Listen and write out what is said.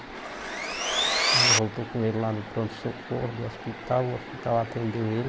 A gente voltou com ele lá no pronto-socorro do hospital, o hospital atendeu ele.